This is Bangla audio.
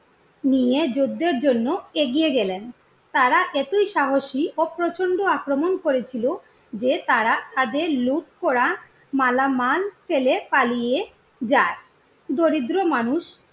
নিয়ে যুদ্ধের জন্য এগিয়ে গেলেন। তারা এতই সাহসী ও প্রচন্ড আক্রমণ করেছিল যে তারা তাদের লুট করা মালামাল ফেলে পালিয়ে যায়। দরিদ্র মানুষদের